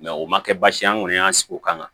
o ma kɛ baasi ye an kɔni y'an sigi o kama